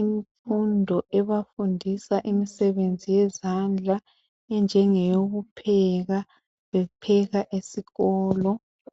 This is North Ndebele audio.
infundo ebafundisa imisebenzi yezandla enjenge yoku pheka bepheka esikolo.